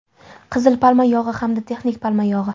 Qizil palma yog‘i hamda texnik palma yog‘i.